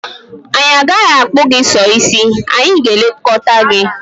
Anyị agaghị akpụ gị sọ ísí, anyị gà-elekọta gị.